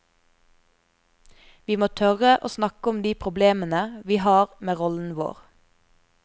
Vi må tørre å snakke om de problemene vi har med rollen vår.